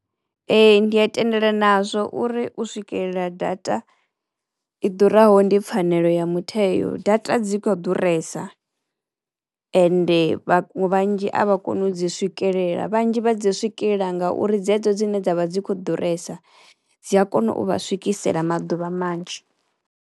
Ee ndi a tendelana nazwo uri u swikelela data i ḓuraho ndi pfhanelo ya mutheo. Data dzi kho ḓuresa ende vhathu vhanzhi a vha koni u dzi swikelela, vhanzhi vha dzi swikelela ngauri dzedzo dzine dzavha dzi kho ḓuresa dzi a kono u vha swikisela maḓuvha manzhi.